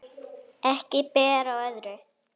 Ekki ber á öðru